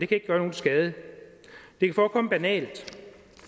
kan gøre nogen skade det kan forekomme banalt